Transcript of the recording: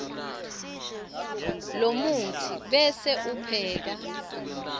lomutsi bese upheka